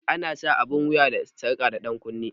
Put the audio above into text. Ana sa abun wuya da sarƙa da dankunne